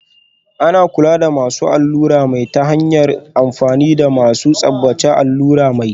Ana kula da masu allurar mai ta hanyar amfani da masu tsabtace allurar mai